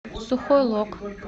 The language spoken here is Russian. сухой лог